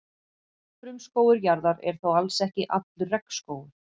Frumskógur jarðar er þó alls ekki allur regnskógur.